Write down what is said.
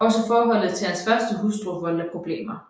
Også forholdet til hans første hustru voldte problemer